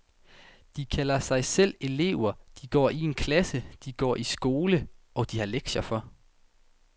De kalder sig selv elever, de går i en klasse, de går i skole, og de har lektier for.